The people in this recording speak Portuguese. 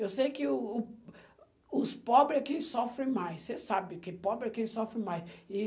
Eu sei que o o os pobres é quem sofre mais, você sabe que pobre é quem sofre mais. E